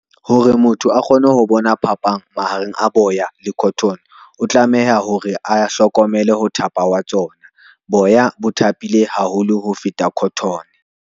Hore motho a kgone ho bona phapang mahareng a boya le cotton o tlameha hore a hlokomele ho thapa wa tsona. Boya bo thapile haholo ho feta cotton.